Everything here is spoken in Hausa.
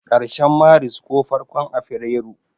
karshen Maris ko farkon afirairu.